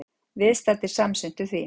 Viðstaddir samsinntu því.